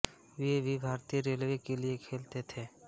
वे भी भारतीय रेलवे के लिए खेलते थे